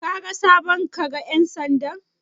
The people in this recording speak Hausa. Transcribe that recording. Kaga sabon kaga ƴan sandan?